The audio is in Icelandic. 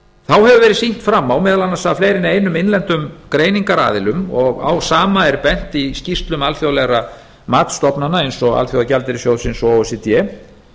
þá hefur verið sýnt fram á meðal annars af fleiri en einum innlendum greiningaraðilum og á sama er bent í skýrslum alþjóðlegra matsstofnana eins og alþjóðagjaldeyrissjóðsins o e c d